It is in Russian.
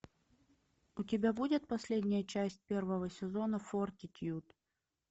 у тебя будет последняя часть первого сезона фортитьюд